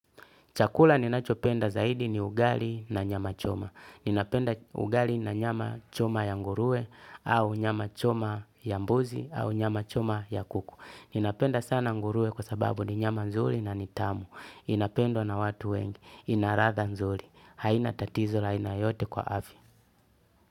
Chakula ninachopenda zaidi ni ugali na nyama choma ninapenda ugali na nyama choma ya ngurue au nyama choma ya mbuzi au nyama choma ya kuku. Ninapenda sana ngurue kwa sababu ni nyama nzuri na nitamu. Inapendwa na watu wengi. Inaladha nzuri haina tatizo ya aina yoyote kwa afya.